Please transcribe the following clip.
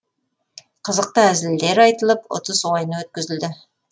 қызықты әзілдер айтылып ұтыс ойыны өткізілді